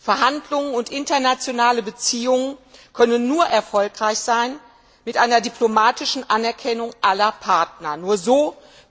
Verhandlungen und internationale Beziehungen können nur erfolgreich sein, wenn die diplomatische Anerkennung aller Partner gegeben ist.